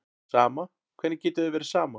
Sama, hvernig getur þér verið sama?